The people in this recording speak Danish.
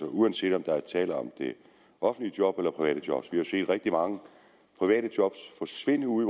uanset om der er tale om offentlige job eller private job vi har jo set rigtig mange private job forsvinde ude